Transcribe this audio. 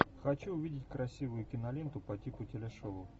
хочу увидеть красивую киноленту по типу телешоу